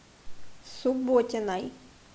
субботиной